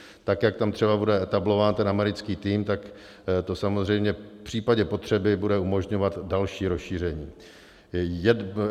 Tak jak tam třeba bude etablován ten americký tým, tak to samozřejmě v případě potřeby bude umožňovat další rozšíření.